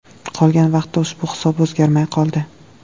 Qolgan vaqtda ushbu hisob o‘zgarmay qoldi.